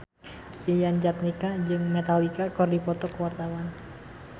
Yayan Jatnika jeung Metallica keur dipoto ku wartawan